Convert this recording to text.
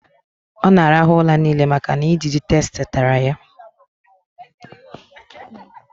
ọ na-arahụ ụra niile maka na ijiji tsetse tara ya